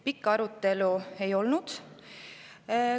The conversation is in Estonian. Pikka arutelu ei olnud.